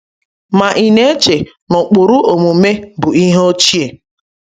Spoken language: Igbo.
Ma ị na-eche na ụkpụrụ omume bụ ihe ochie?